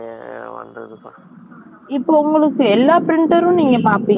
இப்ப உங்களுக்கு எல்லா printer ம், நீங்க பார்ப்பீங்களா?